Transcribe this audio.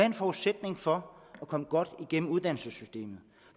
en forudsætning for at komme godt igennem uddannelsessystemet